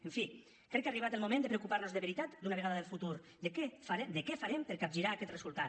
en fi crec que ha arribat el moment de preocupar nos de veritat d’una vegada del futur de què farem per capgirar aquest resultat